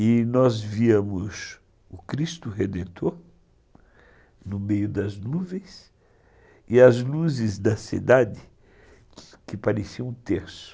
E nós víamos o Cristo Redentor no meio das nuvens e as luzes da cidade que pareciam um terço.